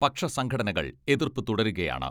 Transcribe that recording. പക്ഷ സംഘടനകൾ എതിർപ്പ് തുടരുകയാണ്.